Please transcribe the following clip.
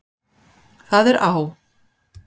Það er á